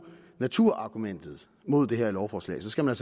naturargumentet imod det her lovforslag så skal man